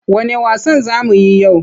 Wanne wasan za mu yi yau?